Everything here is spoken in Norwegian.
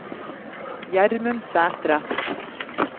Gjermund Sæthre